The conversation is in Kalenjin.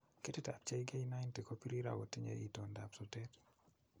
Ketitab JK90 ko birir ago tinye itondap sotet.